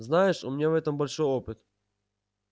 знаешь у меня в этом большой опыт